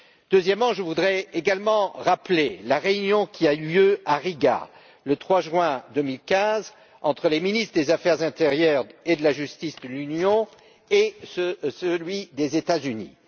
Deuxièmement, je voudrais également rappeler la réunion qui a eu lieu à Riga, le 3 juin 2015, entre les ministres des affaires intérieures et de la justice de l'Union et des États Unis.